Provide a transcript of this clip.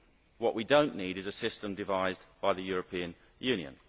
What we do not need is a system devised by the European Union.